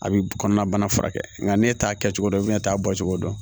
A bɛ kɔnɔna bana furakɛ nka n'e t'a kɛ cogo dɔn i bɛna t'a bɔ cogo dɔn